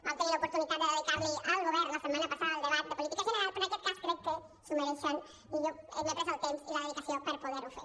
vam tenir l’oportunitat de dedicar li al govern la setmana passada el debat de política general però en aquest cas crec que s’ho mereixen i jo m’he pres el temps i la dedicació per poder ho fer